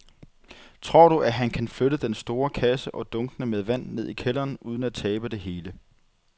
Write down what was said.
Tror du, at han kan flytte den store kasse og dunkene med vand ned i kælderen uden at tabe det hele?